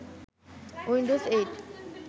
Windows ৮